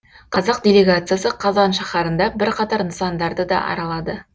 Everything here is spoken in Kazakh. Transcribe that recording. қазақ делегациясы қазан шаһарында бірқатар нысандарды да аралады